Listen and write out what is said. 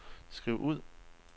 skriv ud